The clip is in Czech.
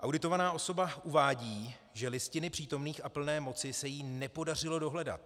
Auditovaná osoba uvádí, že listiny přítomných a plné moci se jí nepodařilo dohledat.